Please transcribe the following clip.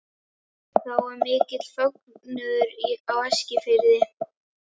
Þá varð mikill fögnuður á Eskifirði.